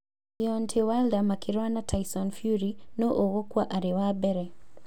Deontay Wilder makĩrũa na Tyson Fury, nũ ũkũgũa arĩ wa mbere